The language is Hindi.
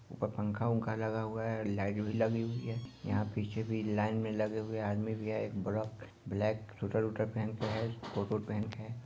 ऊपर पंखा वंखा लगा हुआ है लाइट भी लगी हुई है यहाँ पीछे भी लाइन में लगे हुये आदमी भी है एक बड़क ब्लैक स्वेटर वूटर पहन के है कोट वोट पहन के है।